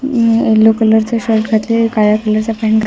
yellow colour च shirt घातलेल काळ्या कलर चा पॅन्ट घ --